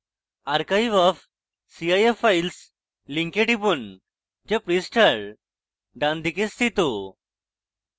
archive of cif files link টিপুন যা পৃষ্ঠার ডানদিকে স্থিত